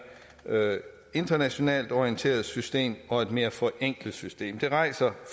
internationalt orienteret system og et mere forenklet system det rejser